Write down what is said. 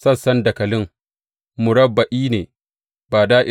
Sassan dakalin murabba’i ne, ba da’ira ba ne.